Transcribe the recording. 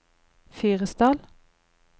Fyresdal